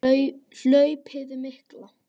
Hlaupið mikla